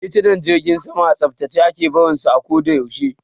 Titunan jirgin sama a tsaftace ake barin su a ko da yaushe.